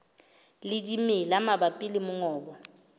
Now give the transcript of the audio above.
le dimela mabapi le mongobo